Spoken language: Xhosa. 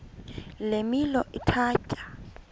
le milo ithatya